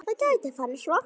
Það gæti farið svo.